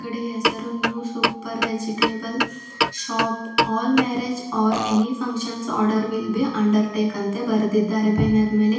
D ಹೆಸರು new super vegetable shop all marriage or any function order will be under take ಅಂತ ಬರೆದಿದ್ದಾರೆ banner ಮೇಲೆ.